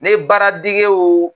Ne baara degew